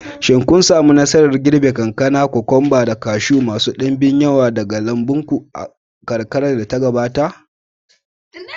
Shin kun sami nasarar girbe kankana, cucumbers, da kashu masu ɗimbin yawa daga lambun ku a kakar da ta gabata?